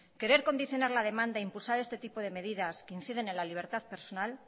querer condicionar la demanda e impulsar este tipo de medidas que inciden en la libertad personal